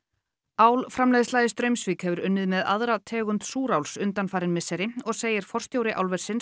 álframleiðsla í Straumsvík hefur unnið með aðra tegund súráls undanfarin misseri og segir Rannveig forstjóri álversins